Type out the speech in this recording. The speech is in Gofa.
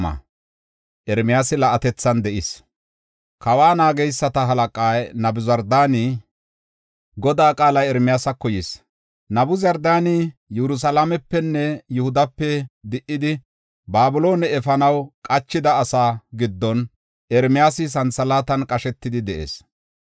Kawa naageysata halaqay Nabuzardaani Ermiyaasa Raman birshidi simmin, Godaa qaalay Ermiyaasako yis. Nabuzardaani Yerusalaamepenne Yihudape di77idi, Babiloone efanaw qachida asaa giddon Ermiyaasi santhalaatan qashetidi de7ees.